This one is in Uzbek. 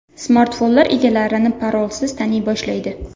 Smartfonlar egalarini parolsiz taniy boshlaydi.